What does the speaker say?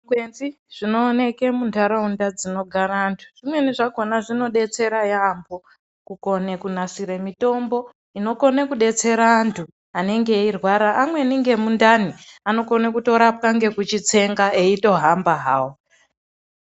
Zvikwenzi zvinooneke muntaraunda dzinogara vantu zvimweni zvakhona zvinodetsera yaampho, kukone kunasire mitombo, inokone kudetsera antu anenge eirwara. Amweni ngemundani anokone kutorapwa ngekuchitsenga eitohamba hawo.